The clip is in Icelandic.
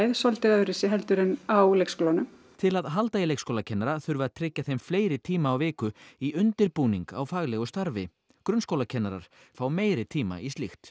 svolítið öðruvísi heldur en á leikskólanum til að halda í leikskólakennara þurfi að tryggja þeim fleiri tíma á viku í undirbúning á faglegu starfi grunnskólakennarar fái meiri tíma í slíkt